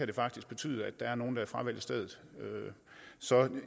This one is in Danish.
det faktisk betyde at nogle fravælger stedet så